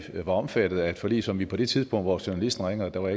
var omfattet af et forlig som vi på det tidspunkt hvor journalisten ringer og der var